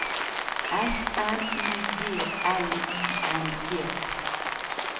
S M U G L I N G